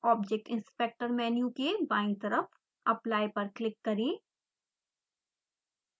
object inspector menu के बायीं तरफ apply पर क्लिक करें